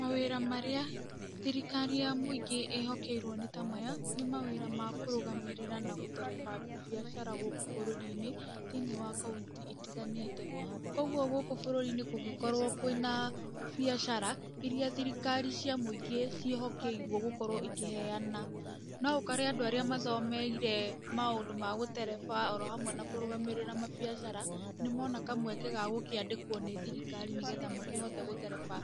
Mawĩra marĩa thirikari ya mwĩingĩ ĩhokeirwo nĩta maya, nĩ mawĩra ma kũrũgamĩrĩra nagũtereba biacara gũkũ bũrũri-inĩ, thĩinĩ wa kauntĩ itiganĩte, koguo gũkũ bũrũri-inĩ kũngĩkorwo kwĩna biacara, iria thirikari cia mwĩingĩ ciĩhokerwo gũkorwo ĩkĩheyana, no ũkore andũ arĩa mathomeire maũndũ ma gũtereba oro hamwe na kũrũgamĩrĩra mabiacara, nĩmona kamweke gagũkĩandĩkwo nĩ thirikari nĩgetha makĩhote gũtereba